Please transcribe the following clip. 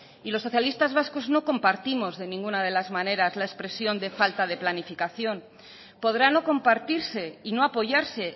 y los socialistas vascos no compartimos de ninguna de las maneras la expresión de falta de planificación podrá no compartirse y no apoyarse